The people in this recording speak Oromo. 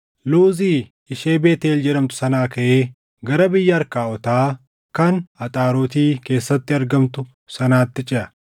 Luuzi ishee Beetʼeel jedhamtu sanaa kaʼee gara biyya Arkaawotaa kan Axaaroti keessatti argamtu sanaatti ceʼa.